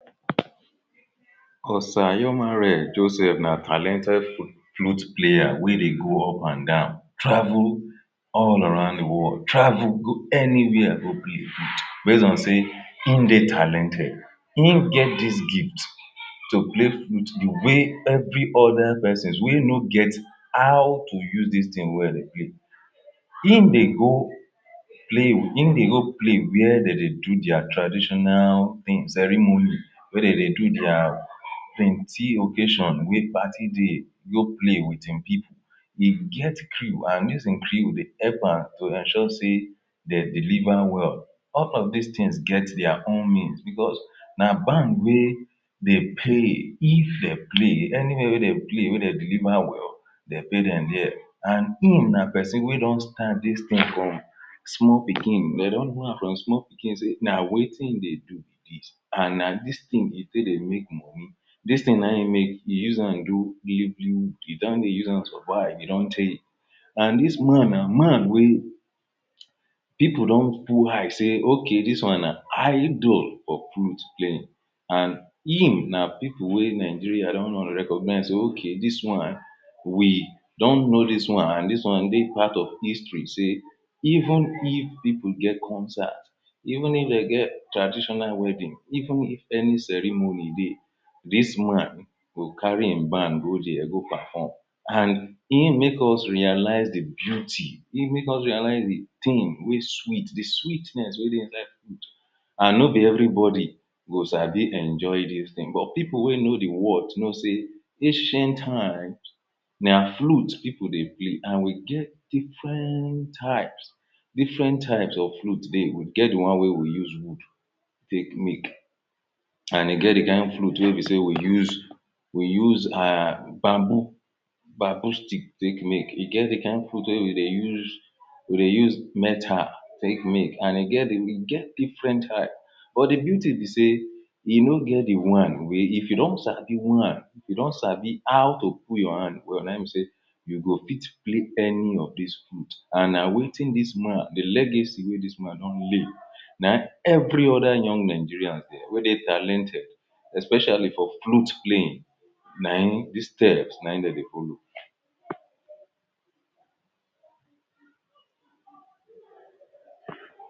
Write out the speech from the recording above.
Osayomare Joseph na talented flute player wey dey go up and down travel all around the world, travel go any where go play flute base on sey in dey talented in get dis gift to play dis flute the way every oda person wey no get how to use dis thing well in dey go play in dey go play where de dey do dia traditional thing ceremony wey de dey do dia plenty occasion wey party dey, e go play with in people e get crew and dis him crew de help am to ensure sey dey deliver well all of dis things get dia own means because na band wey de play if dey play anywhere wey de play wey de deliver well de pay dem dia and him na person wey don start dis thing from small pikin dey don no am from small pikin sey na wetin e de do and na dis thing e take de make dis thing nayin make e use am do e don dey use am survive e don tey and dis man na man wey people don put eye sey, ok, dis one na idol for flute playing and him na people wey Nigeria don recognise sey, ok, dis one we don know dis one and dis one dey part of history sey even if e go get concern even if dem get traditional wedding, even if any ceremony dey dis man go carry him band go dia go perform and him make us realise the beauty, him make us realise the thing wey sweet de sweetness wey de and no be every body go sabi enjoy dis thing but people wey know de worth know sey ancient times na flute people dey play and we get different types different types of flute dey, we get the one wey we use wood take make and e get the kind flute wey be sey we use we use um bamboo bamboo stick take make e get the kind flute wey we dey use we dey use metal take make and e get different type but de beauty be sey e no get the one wey if you don sabi one you don sabi how to put your hand well nayin be sey you go fit play any of dis flute and na wetin dis man the legacy wey dis man don lay na in every oda young Nigeria wey dey talented especially for flute playing na in the steps nayin dem dey folow